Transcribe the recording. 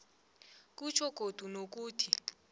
kutjho godu nokuthi